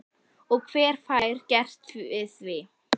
Og hver fær gert við því?